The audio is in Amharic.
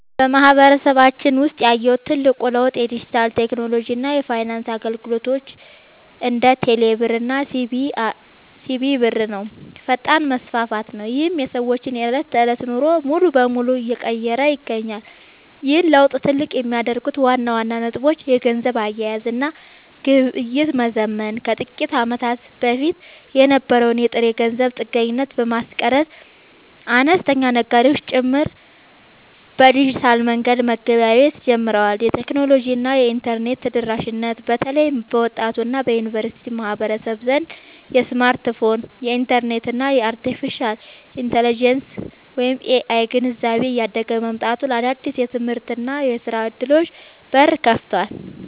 በማህበረሰባችን ውስጥ ያየሁት ትልቁ ለውጥ የዲጂታል ቴክኖሎጂ እና የፋይናንስ አገልግሎቶች (እንደ ቴሌብር እና ሲቢኢ ብር) ፈጣን መስፋፋት ነው፤ ይህም የሰዎችን የዕለት ተዕለት ኑሮ ሙሉ በሙሉ እየቀየረ ይገኛል። ይህን ለውጥ ትልቅ የሚያደርጉት ዋና ዋና ነጥቦች - የገንዘብ አያያዝ እና ግብይት መዘመን፦ ከጥቂት ዓመታት በፊት የነበረውን የጥሬ ገንዘብ ጥገኝነት በማስቀረት፣ አነስተኛ ነጋዴዎች ጭምር በዲጂታል መንገድ መገበያየት ጀምረዋል። የቴክኖሎጂ እና የኢንተርኔት ተደራሽነት፦ በተለይ በወጣቱ እና በዩኒቨርሲቲ ማህበረሰብ ዘንድ የስማርትፎን፣ የኢንተርኔት እና የአርቴፊሻል ኢንተለጀንስ (AI) ግንዛቤ እያደገ መምጣቱ ለአዳዲስ የትምህርትና የሥራ ዕድሎች በር ከፍቷል።